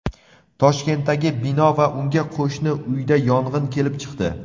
Toshkentdagi bino va unga qo‘shni uyda yong‘in kelib chiqdi.